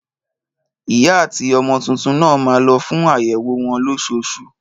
Ìyá àti ọmọ títún nà má lo fún àyẹwò wọn lọsosu